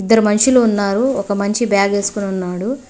ఇద్దరు మనుషులు ఉన్నారు ఒక మనిషి బ్యాగ్ వేసుకొని ఉన్నాడు.